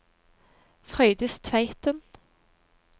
Frøydis Tveiten